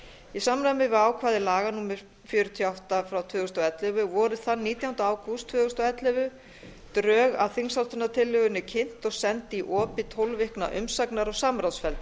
í samræmi við ákvæði laga númer fjörutíu og átta tvö þúsund og ellefu voru þann nítjánda ágúst tvö þúsund og ellefu drög að þingsályktunartillögunni kynnt og send í opið tólf vikna umsagnar og samráðsferli